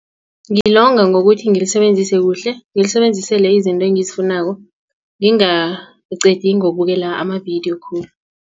Ngilonga ngokuthi ngilisebenzise kuhle ngilisebenzisele izinto engizifunako ngingaliqedi ngokubukela amavidiyo khulu.